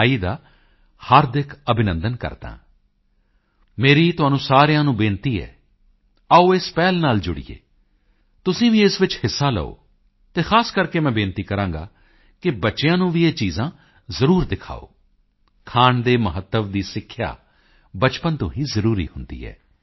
ਆਈ ਦਾ ਹਾਰਦਿਕ ਅਭਿਨੰਦਨ ਕਰਦਾ ਹਾਂ ਮੇਰੀ ਤੁਹਾਨੂੰ ਸਾਰਿਆਂ ਨੂੰ ਤਾਕੀਦ ਹੈ ਆਓ ਇਸ ਪਹਿਲ ਨਾਲ ਜੁੜੀਏ ਤੁਸੀਂ ਵੀ ਇਸ ਵਿੱਚ ਹਿੱਸਾ ਲਓ ਅਤੇ ਖਾਸ ਕਰਕੇ ਮੈਂ ਤਾਕੀਦ ਕਰਾਂਗਾ ਕਿ ਬੱਚਿਆਂ ਨੂੰ ਵੀ ਇਹ ਚੀਜ਼ਾਂ ਜ਼ਰੂਰ ਦਿਖਾਓ ਖਾਣ ਦੇ ਮਹੱਤਵ ਦੀ ਸਿੱਖਿਆ ਬਚਪਨ ਤੋਂ ਹੀ ਜ਼ਰੂਰੀ ਹੁੰਦੀ ਹੈ